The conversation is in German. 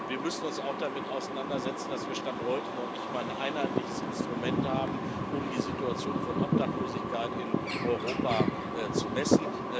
Wir müssen uns auch damit auseinandersetzen, dass wir Stand heute noch nicht mal ein einheitliches Instrument haben, um die Situation von Obdachlosigkeit in Europa zu messen.